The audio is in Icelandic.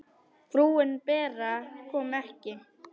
Frúin Bera kom ekki.